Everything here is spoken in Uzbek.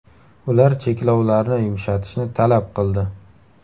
Ular cheklovlarni yumshatishni talab qildi.